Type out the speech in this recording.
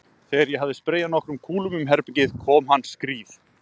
Þegar ég hafði spreyjað nokkrum kúlum um herbergið kom hann skríð